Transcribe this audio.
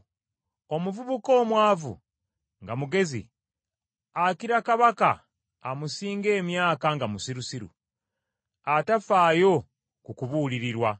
Omuvubuka omwavu nga mugezi, akira kabaka amusinga emyaka nga musirusiru, atafaayo ku kubuulirirwa.